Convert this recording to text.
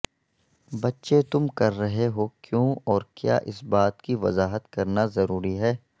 بچے تم کر رہے ہو کیوں اور کیا اس بات کی وضاحت کرنا ضروری ہے